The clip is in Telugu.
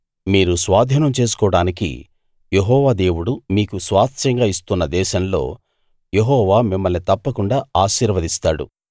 మీరు స్వాధీనం చేసుకోడానికి యెహోవా దేవుడు మీకు స్వాస్థ్యంగా ఇస్తున్న దేశంలో యెహోవా మిమ్మల్ని తప్పకుండా ఆశీర్వదిస్తాడు